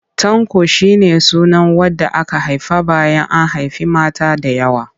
Tanko shi ne sunan wanda aka haifa bayan an haifi mata da yawa.